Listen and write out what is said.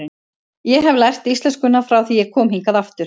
Ég hef lært íslenskuna frá því ég kom hingað aftur.